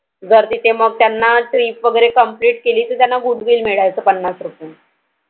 जर तिथे मग त्यांना Trip complete केली तर त्यांना Goodwill मिळायची. पन्नास रुपए.